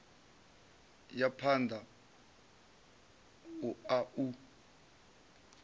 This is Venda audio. ya phanda u a u